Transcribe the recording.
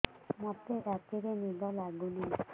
ମୋତେ ରାତିରେ ନିଦ ଲାଗୁନି